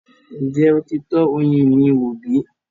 Ǹjẹ́ o ti tọ ọyin mì wò bí?